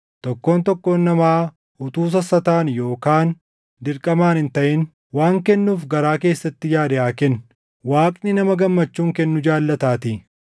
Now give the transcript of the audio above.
Tokkoon tokkoon namaa utuu sassataan yookaan dirqamaan hin taʼin waan kennuuf garaa keessatti yaade haa kennu; Waaqni nama gammachuun kennu jaallataatii.